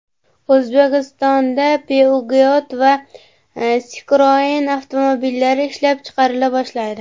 O‘zbekistonda Peugeot va Citroen avtomobillari ishlab chiqarila boshlaydi .